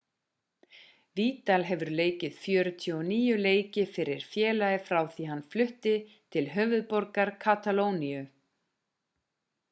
vidal hefur leikið 49 leiki fyrir félagið frá því hann flutti til höfuðborgar katalóníu